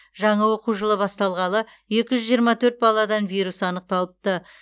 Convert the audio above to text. жаңа оқу жылы басталғалы екі жүз жиырма төрт баладан вирус анықталыпты